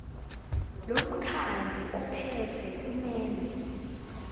lomkhandlu ophethe kumele